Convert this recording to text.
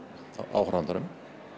áhorfandanum